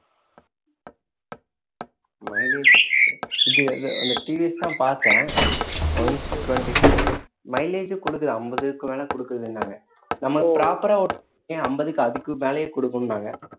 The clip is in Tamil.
mileage இது அது அந்த TVS தான் பார்த்தேன் one twenty mileage கொடுக்குது ஐம்பதுக்கு மேல கொடுக்குதுன்னாங்க நம்ம proper ஆ ஏன் ஐம்பதுக்கு அதுக்கு மேலயே கொடுக்கும்னாங்க